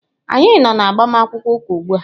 Anyị nọ na agbamakwụkwọ ụka ugbu a.